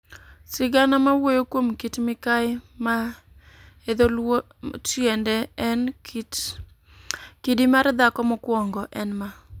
Sigana mawuoyo kuom Kit Mikayi, ma e dho Luo tiende en "kidi mar dhako mokwongo", en ma.